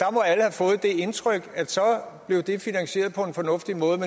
indtryk at så blev det finansieret på en fornuftig måde